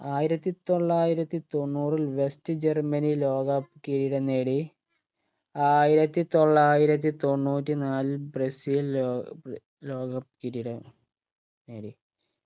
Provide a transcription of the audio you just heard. ആയിരത്തി തൊള്ളായിരത്തി തൊണ്ണൂറിൽ west ജർമനി ലോകകപ്പ് കിരീടം നേടി ആയിരത്തി തൊള്ളായിരത്തി തൊണ്ണൂറ്റിനാലിൽ ബ്രസീൽ ലോ ലോക cup കിരീടം നേടി